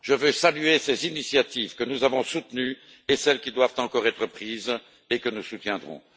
Je tiens à saluer ces initiatives, que nous avons soutenues, et celles qui doivent encore être prises et que nous soutiendrons.